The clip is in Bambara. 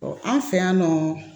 an fɛ yan nɔ